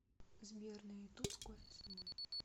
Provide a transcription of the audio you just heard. сбер на ютуб кофе с собой